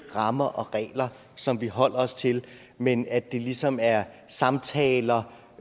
rammer og regler som vi holder os til men at det ligesom er samtaler